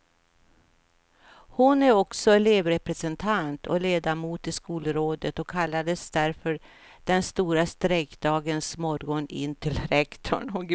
Hon är också elevrepresentant och ledamot i skolrådet och kallades därför på den stora strejkdagens morgon in till rektorn.